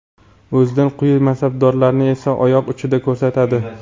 o‘zidan quyi mansabdagilarni esa oyoq uchida ko‘rsatadi.